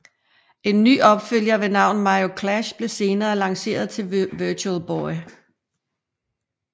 En ny opfølger ved navn Mario Clash blev senere lanceret til Virtual Boy